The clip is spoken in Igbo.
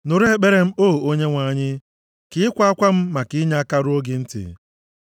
Nụrụ ekpere m, O Onyenwe anyị; ka ịkwa akwa m maka inyeaka ruo gị ntị.